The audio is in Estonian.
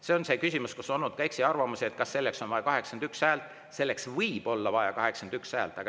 See on küsimus, mille puhul on olnud ka eksiarvamusi, et kas selleks on vaja 81 häält.